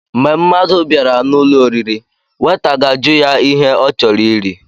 Mgbé mmadụ bịara n'ụlọ oriri, weta gaajụ ya ihe ọ chọrọ iri.